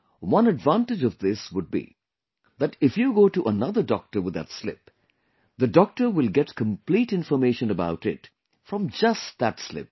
One advantage of this would be that if you go to another doctor with that slip, the doctor will get complete information about it from just that slip